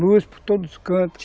Luz por todos os cantos.